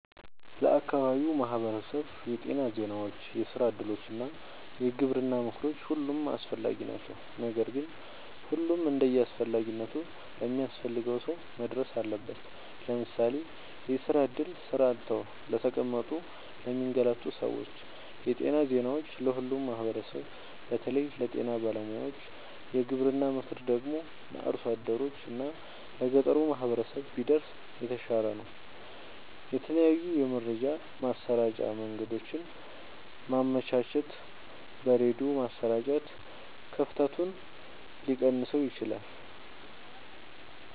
ለአካባቢው ማህበረሰብ የጤና ዜናዎች፣ የስራ እድሎች እና የግብርና ምክሮች ሁሉም አስፈላጊ ናቸው። ነገር ግን ሁሉም እንደየአስፈላጊነቱ ለሚያስፈልገው ሰው መድረስ አለበት። ለምሳሌ፦ የስራ እድል (ስራ አጥተው ለተቀመጡ ለሚንገላቱ ሰዎች) ,የጤና ዜናዎች(ለሁሉም ማህበረሰብ በተለይ ለጤና ባለሙያዎች) ,የግብርና ምክር ደግሞ(ለአርሶ አደሮች እና ለገጠሩ ማህበረሰብ) ቢደርስ የተሻለ ነው። የተለያዩ የመረጃ ማሰራጫ መንገዶችን ማመቻቸት(በሬድዮ ማሰራጨት) ክፍተቱን ሊቀንሰው ይችላል።